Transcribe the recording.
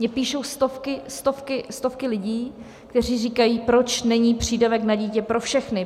Mně píšou stovky, stovky, stovky lidí, kteří říkají: Proč není přídavek na dítě pro všechny?